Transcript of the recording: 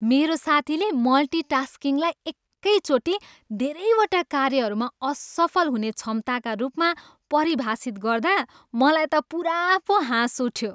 मेरो साथीले मल्टिटास्किङलाई एकैचोटि धेरैवटा कार्यहरूमा असफल हुने क्षमताका रूपमा परिभाषित गर्दा मलाई त पुरा पो हाँस उठ्यो।